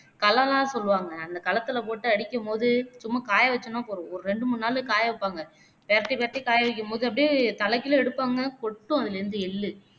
களம்லாம் சொல்லுவாங்க அந்த களத்துலே போட்டு அடிக்கும்போது சும்மா காய வச்சோன்னா போதும் ஒரு ரெண்டு மூனு நாளு காய வைப்பாங்க பெரட்டி பெரட்டி காயவைக்கும்போது அப்படியே தலைகீழ எடுப்பங்க அதுலேயிருந்து எள்ளு